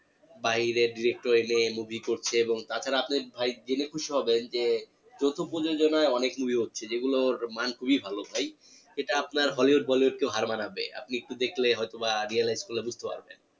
বাইরে তে movie করছে এবং তাছাড়া আপনি ভাই জেনে খুশি হবেন যে অনেক movie হচ্ছে যেগুলোর মান খুবই ভালো ভাই এটা আপনার hollywood bollywood কেও হার মানাবে আপনি একটু দেখলে হয়তো বা realise করলে বুঝতে পারবেন